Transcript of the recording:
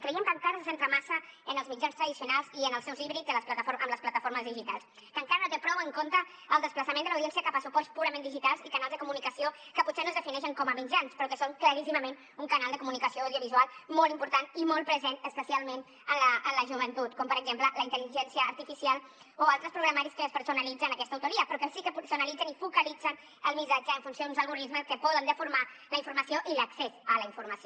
creiem que encara se centra massa en els mitjans tradicionals i en els seus híbrids amb les plataformes digitals que encara no té prou en compte el desplaçament de l’audiència cap a suports purament digitals i canals de comunicació que potser no es defineixen com a mitjans però que són claríssimament un canal de comunicació audiovisual molt important i molt present especialment en la joventut com per exemple la intel·ligència artificial o altres programaris que despersonalitzen aquesta autoria però que sí que personalitzen i focalitzen el missatge en funció d’uns algorismes que poden deformar la informació i l’accés a la informació